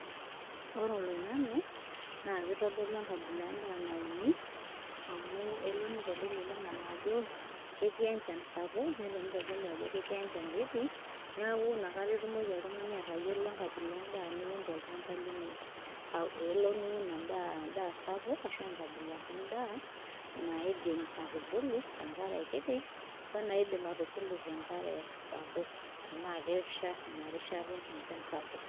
Ore olaingange na kitodolu enkabila endaa nauni amu keya nitodolu oloingange ajo keti enchan sapuk nelo nitodolu ajo keti enchan kiti niaku nakata itumoki oltungani atayiolo enkabila endaa niun tolchamba lino, elo niun endaa sapuk ,ashu enkabila endaa naidim atubulu te nkare kiti ,we naidim atubulu tenkare sapuk tena kesha ina rishata enchan esapuk .